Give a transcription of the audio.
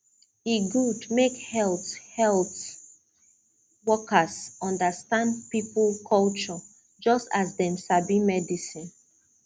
e good make health health workers understand people culture just as dem sabi medicine